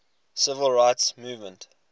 civil rights movement